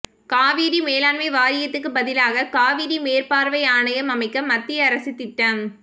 காவிரி மேலாண்மை வாரியத்துக்கு பதிலாக காவிரி மேற்பார்வை ஆணையம் அமைக்க மத்திய அரசு திட்டம்